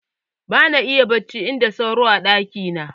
Ba na iya barci in da sauro a ɗaki na